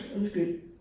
Undskyld